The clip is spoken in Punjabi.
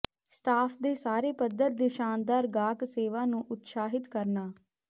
ਸਟਾਫ ਦੇ ਸਾਰੇ ਪੱਧਰ ਦੇ ਸ਼ਾਨਦਾਰ ਗਾਹਕ ਸੇਵਾ ਨੂੰ ਉਤਸ਼ਾਹਿਤ ਕਰਨਾ